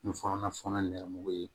Ni nɛmugun ye